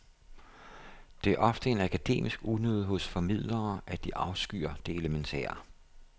Det er ofte en akademisk unode hos formidlere, at de afskyr det elementære.